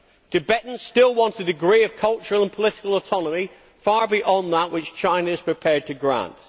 Tibetans still want a degree of cultural and political autonomy far beyond that which China is prepared to grant.